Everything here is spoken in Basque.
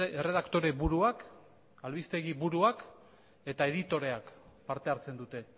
erredaktore buruak albistegi buruak eta editoreak parte hartzen dute